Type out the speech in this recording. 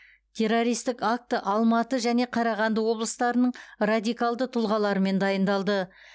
террористік акті алматы және қарағанды облыстарының радикалдық тұлғаларымен дайындалды